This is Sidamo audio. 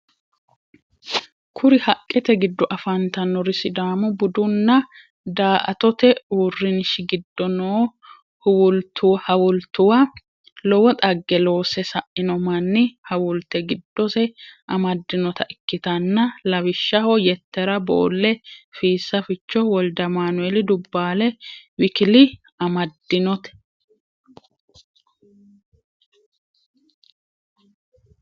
Kuri haqqete giddo afantannori sidaamu budu nna da"attote uurinshi giddo no hawultuwa lowo xagge loose sainno manni hawulte giddose amaddinnota ikkitanna lawishshaho yettera boolle, fiisa ficho, woldeamanuel dubbale w.k.l amaddinnote.